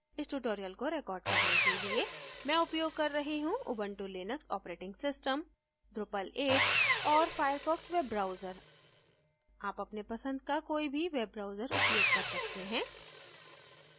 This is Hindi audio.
इस tutorial को record करने के लिए मैं उपयोग कर रही हूँ Ubuntu Linux operating system drupal 8 और firefox वेब ब्राउजर आप अपने पसंद का कोई भी वेब ब्राउजर उपयोग कर सकते हैं